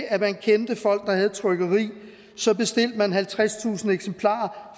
at man kendte folk der havde et trykkeri og så bestilte man halvtredstusind eksemplarer